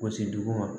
Gosi dugu ma